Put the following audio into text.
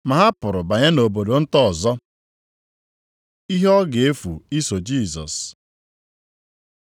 Ma ha pụrụ banye nʼobodo nta ọzọ. Ihe ọ ga-efu iso Jisọs